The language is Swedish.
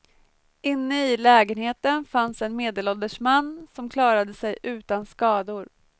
Inne i lägenheten fanns en medelålders man, som klarade sig utan skador.